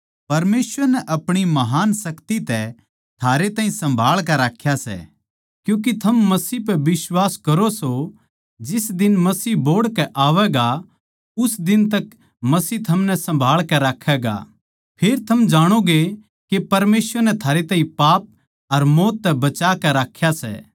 परमेसवर नै आपणी महान शक्ति तै थारे ताहीं सम्भाळ कै राख्या सै क्यूँके थम मसीह पै बिश्वास करो सों जिस दिन मसीह बोहड़ कै आवैगा उस दिन तक मसीह थमनै सम्भाळ कै राक्खैगा फेर थम जाणोगे के परमेसवर नै थारे ताहीं पाप अर मौत तै बचा के राख्या सै